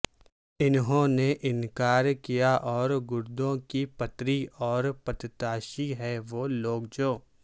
انہوں نے انکار کیا اور گردوں کی پتری اور پتتاشی ہیں وہ لوگ جو